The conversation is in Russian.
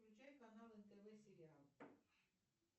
включай канал нтв сериал